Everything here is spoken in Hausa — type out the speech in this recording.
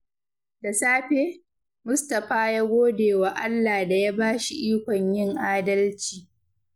Da safe, Mustapha ya gode wa Allah da ya ba shi ikon yin adalci.